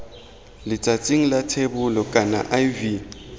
letsatsing la thebolo kana iv